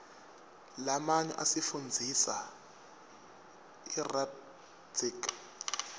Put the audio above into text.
lamanyo asifundzisa rdatsitg